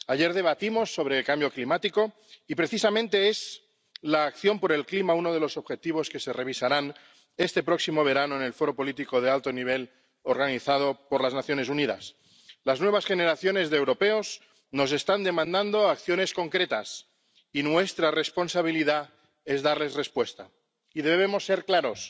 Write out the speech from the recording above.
Ayer debatimos sobre el cambio climático y, precisamente, la acción por el clima es uno de los objetivos que se revisarán este próximo verano en el foro político de alto nivel organizado por las Naciones Unidas. Las nuevas generaciones de europeos nos están demandando acciones concretas, y nuestra responsabilidad es darles respuesta y debemos ser claros.